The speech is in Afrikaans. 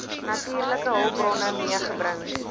natuurlike hulpbronne meegebring